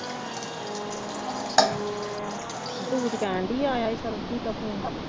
ਝੂਠ ਕਹਿਣ ਡੇਈ ਹੈ ਆਇਆ ਸੀ ਸਰਬਜੀਤ ਦਾ ਫੋਨ